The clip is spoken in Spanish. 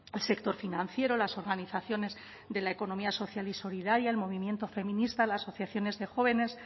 el sector financiero las organizaciones de la economía social y solidaria el movimiento feminista las asociaciones de jóvenes